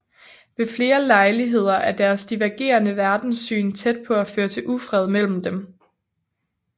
Ved flere lejligheder er deres divergerende verdenssyn tæt på at føre til ufred imellem dem